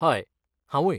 हय, हांवूय.